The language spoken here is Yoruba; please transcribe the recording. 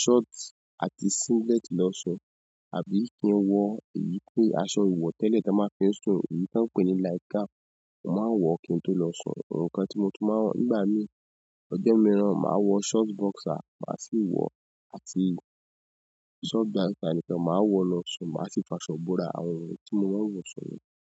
shorti àti singleti lọ sun àbí kí n wọ èyí pé aṣọ ìwọ̀ tẹ́lẹ̀ tó máa ń fi sùn, èyí tó ń pè ni night gown, mo màá wọ̀ kí n tó lọ sun. Nkan tí mo tún máa ń wọ̀ nígbà mí, ọjọ́ mìíràn màá wọ short boxer, màá sì wọ̀ àti short gown nìkan màá wọ lọ sun, màá sì faṣọ bora àwọn ohun tí mo máa ń wọ̀ lo sun.